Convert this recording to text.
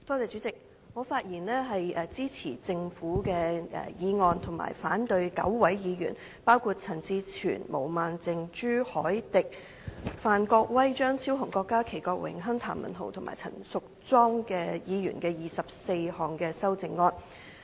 主席，我發言支持《廣深港高鐵條例草案》，反對9位議員，包括陳志全議員、毛孟靜議員、朱凱廸議員、范國威議員、張超雄議員、郭家麒議員、郭榮鏗議員、譚文豪議員及陳淑莊議員的24項修正案。